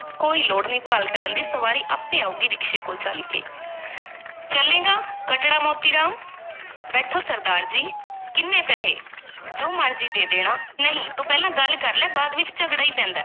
ਕੋਈ ਲੋੜ ਨਹੀਂ, ਭਾਲ ਕਰਨ ਦੀ ਸਵਾਰੀ ਆਪੇ ਆਊਗੀ ਰਿਕਸ਼ੇ ਕੋਲ ਚੱਲ ਕੇ ਚੱਲੇਂਗਾ, ਕਟੜਾ ਮੋਤੀ ਰਾਮ ਬੈਠੋ, ਸਰਦਾਰ ਜੀ, ਕਿੰਨੇ ਪੈਸੇ? ਜੋ ਮਰਜ਼ੀ ਦੇ ਦੇਣਾ, ਨਹੀਂ, ਤੂੰ ਪਹਿਲਾਂ ਗੱਲ ਕਰ ਲੈ, ਬਾਅਦ ਵਿੱਚ ਝਗੜਾ ਹੀ ਪੈਂਦਾ ਹੈ।